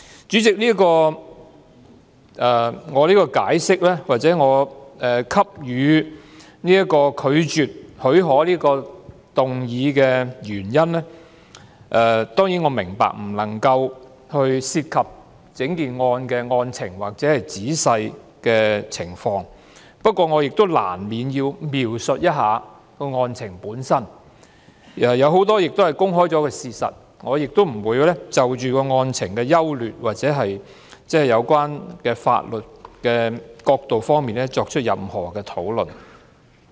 主席，我當然明白，在提出拒絕給予許可的議案的原因時，我不能夠談及整宗個案的案情或仔細的情況，不過，我亦難免要描述一下案情，當中有很多已是公開的事實，我亦不會就案情的優劣或有關法律的角度作出任何討論。